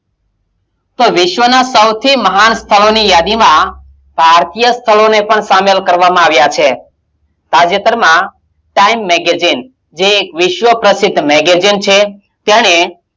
તો વિશ્વનાં સૌથી મહાન સ્થળોની યાદીમાં પાર્થિય સ્થળોને પણ શામિલ કરવામાં આવ્યાં છે તાજેતરમાં time magazine જે એક વિશ્વ પ્રસિદ્ધ magazine છે. તેણે,